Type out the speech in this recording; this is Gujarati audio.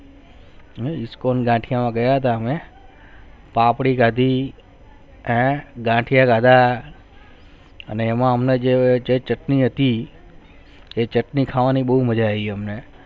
Disco દાંડિયા માં ગયા થા મેં પાપડી ખાદી ગાંઠિયા ખાદા અને એમાં હમને જે ચટણી હતી તે ચટણી ખાવાનું બહુ મજા આવી હમને